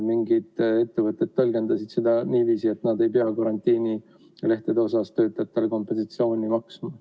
Mingid ettevõtted ju tõlgendasid seda niiviisi, et nad ei pea karantiinilehtede puhul töötajatele kompensatsiooni maksma.